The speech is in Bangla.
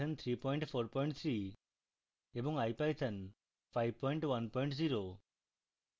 python 343